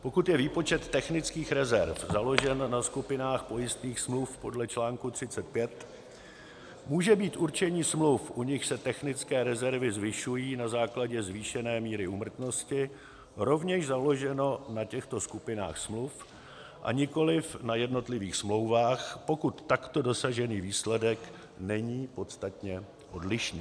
pokud je výpočet technických rezerv založen na skupinách pojistných smluv podle článku 35, může být určení smluv, u nichž se technické rezervy zvyšují na základě zvýšené míry úmrtnosti, rovněž založeno na těchto skupinách smluv a nikoli na jednotlivých smlouvách, pokud takto dosažený výsledek není podstatně odlišný.